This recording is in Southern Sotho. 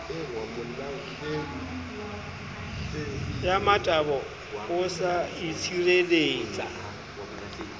ya motabo o sa itshireletsa